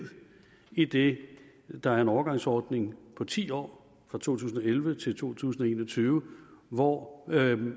idet der er en overgangsordning på ti år fra to tusind og elleve til to tusind og en og tyve hvor